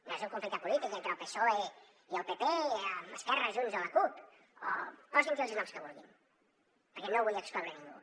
no és un conflicte polític entre el psoe i el pp amb esquerra junts o la cup o posin los els noms que vulguin perquè no vull excloure ningú